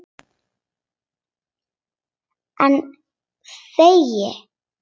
En þegi.